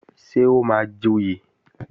Ṣé o máa joyè?